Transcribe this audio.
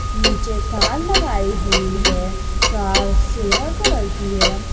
नीचे कार लगाई हुई है कार सिल्वर कलर की है।